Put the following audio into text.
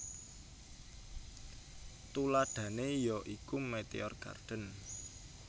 Tuladhané ya iku Meteor Garden